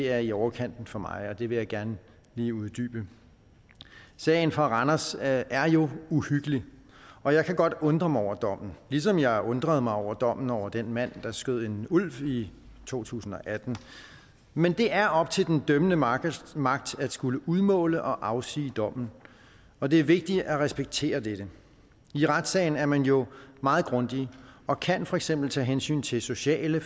er i overkanten for mig og det vil jeg gerne lige uddybe sagen fra randers er jo uhyggelig og jeg kan godt undre mig over dommen ligesom jeg undrede mig over dommen over den mand der skød en ulv i to tusind og atten men det er op til den dømmende magt magt at skulle udmåle og afsige dommen og det er vigtigt at respektere dette i retssagen er man jo meget grundige og kan for eksempel tage hensyn til sociale